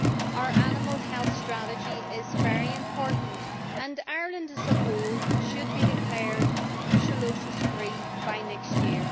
Our animal health strategy is very important, and Ireland as a whole should be declared brucellosis free by next year.